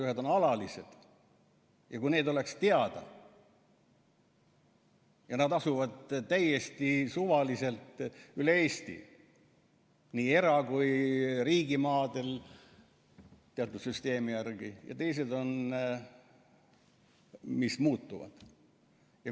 Ühed on alalised, need asuvad täiesti suvaliselt üle Eesti, nii era- kui ka riigimaadel teatud süsteemi järgi, ja teised on sellised, mis muutuvad.